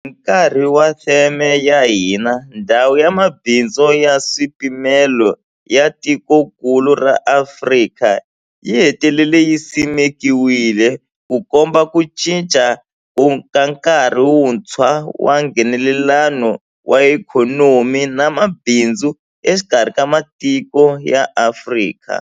Hi nkarhi wa theme ya hina, Ndhawu ya Mabindzu ya Nkaswipimelo ya Tikokulu ra Afrika yi hetelele yi simekiwile, Ku komba ku cinca ka nkarhi wuntshwa wa Nghenelelano wa ikhonomi na mabindzu exikarhi ka matiko ya Afrika.